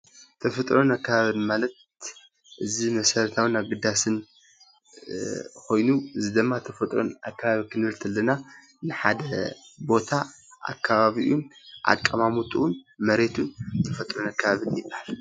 ተፈጥሮን ኣካባቢን ማለት እዚ መሰረታዊን ኣገዳሲ ኮይኑ እዚ ድማ ተፈጥሮን ኣካባቢን ክንብል ከለና ናይ ሓደ ቦታ ኣካባቢኡን ኣቀማምጥኡን መሬቱን ተፈጥራዊ ኣካባቢ ይባሃል።